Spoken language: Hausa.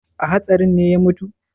A hatsarin ne ya mutu?